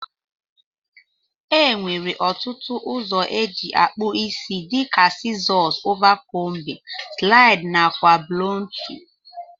Enwere otụtu ọzọ eji akpụ isi dika sizos ova combin, slid nakwa blọntu.